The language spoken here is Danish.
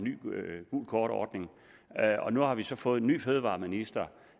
gult kort ordningen og nu har vi så fået en ny fødevareminister